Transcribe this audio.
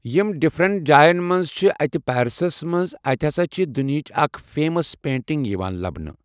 یِم ڈفرینٹ جاین منٛز چھِ اتہِ پیرسس منٛز اتہِ ہسا چھِ دُنہیٖچ اکھ فیمس پینٚٹنگ یِوان لبنہٕ۔